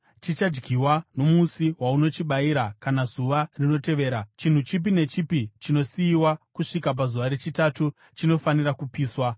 Chichadyiwa nomusi waunochibayira kana zuva rinotevera; chinhu chipi nechipi chinosiyiwa kusvika pazuva rechitatu chinofanira kupiswa.